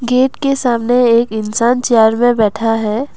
Gate के सामने एक इंसान चेयर पे बैठा है।